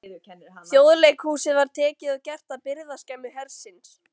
Þjóðleikhúsið var tekið og gert að birgðaskemmu hersins.